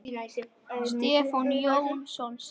Stefán Jónsson syngur.